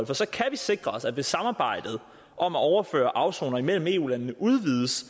for så kan vi sikre at hvis samarbejdet om at overføre afsonere mellem eu landene udvides